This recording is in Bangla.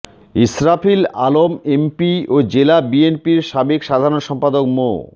ইসরাফিল আলম এমপি ও জেলা বিএনপির সাবেক সাধারণ সম্পাদক মো